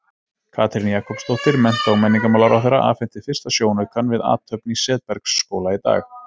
Katrín Jakobsdóttir, mennta- og menningarmálaráðherra, afhenti fyrsta sjónaukann við athöfn í Setbergsskóla í dag.